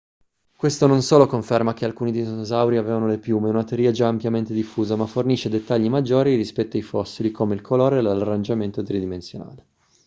questo non solo conferma che alcuni dinosauri avevano le piume una teoria già ampiamente diffusa ma fornisce dettagli maggiori rispetto ai fossili come il colore e l'arrangiamento tridimensionale